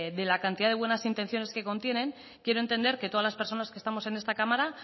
de la cantidad de buenas intenciones que contienen quiero entender que todas las personas que estamos en esta cámara